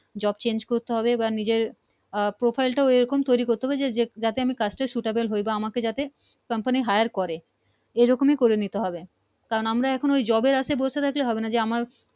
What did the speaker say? Job change করতে হবে না নিজের আহ profile টা সে রকম তৈরি করতে হবে যাতে আমি কাজটা আমি suitable হই আমাকে যাতে company higher করে এই রকমি করে নিতে হবে কারণ আমরা Job এর আশায় বসে থাকলে হবে না যে আমার